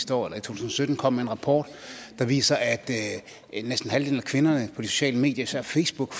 to tusind og sytten kom med en rapport der viser at næsten halvdelen af kvinderne på de sociale medier især facebook